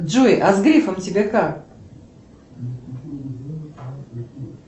джой а с грифом тебе как